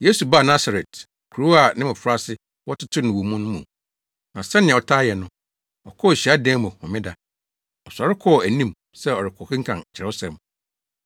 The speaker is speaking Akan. Yesu baa Nasaret, kurow a ne mmofraase wɔtetew no wɔ mu no mu. Na sɛnea ɔtaa yɛ no, ɔkɔɔ hyiadan mu homeda. Ɔsɔre kɔɔ anim sɛ ɔrekɔkenkan Kyerɛwsɛm.